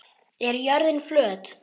Er jörðin flöt?